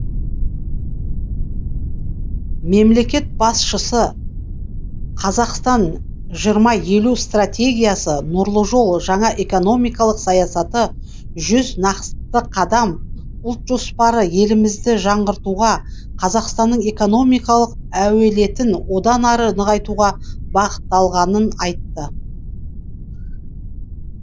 мемлекет басшысы қазақстан жиырма елу стратегиясы нұрлы жол жаңа экономикалық саясаты жүз нақты қадам ұлт жоспары елімізді жаңғыртуға қазақстанның экономикалық әлеуетін одан ары нығайтуға бағытталғанын айтты